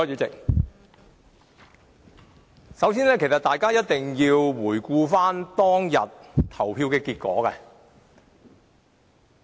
首先，大家一定要回顧當天的表決結果。